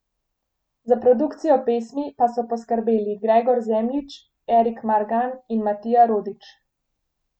Za produkcijo pesmi pa so poskrbeli Gregor Zemljič, Erik Margan in Matija Rodić.